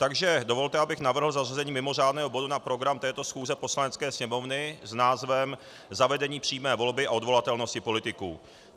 Takže dovolte, abych navrhl zařazení mimořádného bodu na program této schůze Poslanecké sněmovny s názvem Zavedení přímé volby a odvolatelnosti politiků.